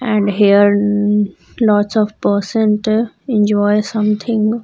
And here lots of person ta enjoy something.